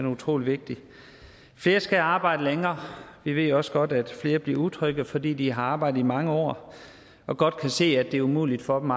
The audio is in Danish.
utrolig vigtig flere skal arbejde længere vi ved også godt at flere bliver utrygge fordi de har arbejdet i mange år og godt kan se at det er umuligt for dem